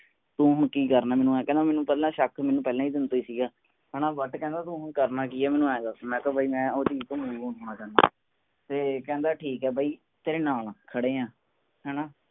ਤੂੰ ਹੁਣ ਕਿ ਕਰਨਾ ਹੈ ਮਨੁ ਇਹ ਕਹਿੰਦਾ ਸ਼ੱਕ ਮੇਨੂ ਪਹਿਲਾ ਦਿਨ ਤੋਂ ਸੀ ਗਾ ਹਣਾ but ਮੇਨੂ ਕਹਿੰਦਾ ਹੁਣ ਤੂੰ ਕਰਨਾ ਕਿ ਮੇਨੂ ਇਹ ਦਸ ਮੈ ਕਿਹਾ ਬਾਈ ਮੈ ਓਹਦੀ ਤੇ ਕਹਿੰਦਾ ਠੀਕ ਹੈ ਬਾਈ ਤੇਰੇ ਨਾਲ ਖੜੇ ਆ